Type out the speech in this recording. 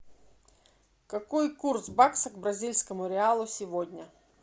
какой курс бакса к бразильскому реалу сегодня